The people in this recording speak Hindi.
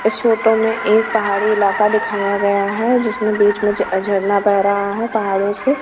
इस फोटो में एक पहाड़ी इलाका दिखाया गया हैं जिसमें बीच में ज झरना बह रहा हैं पहाड़ों से।